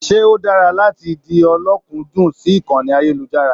Se o dára láti di ọ̀lọ̀kundun sí ìkànnì ayelujara?